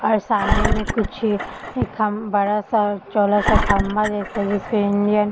और सामने में कुछ इ खम बड़ा सा चौड़ा सा खम्बा जैसा जिसपे इंडियन --